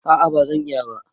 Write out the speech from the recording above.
A'a ba zan iya ba.